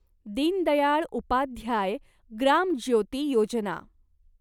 Deen Dayal Upadhyaya Gram Jyoti Yojana